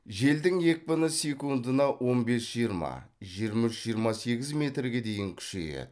желдің екпіні секундына он бес жиырма жиырма үш жиырма сегіз метрге дейін күшейеді